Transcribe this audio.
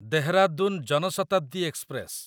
Dehradun Jan Shatabdi express